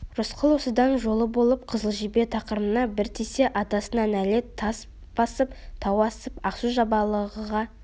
рысқұл осыдан жолы болып қызыл жебе тақымына бір тисе атасына нәлет тас басып тау асып ақсу-жабағылыға